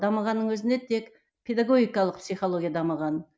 дамығанның өзінде тек педагогикалық психология дамыған